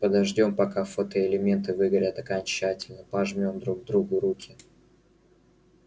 подождём пока фотоэлементы выгорят окончательно пожмём друг другу руки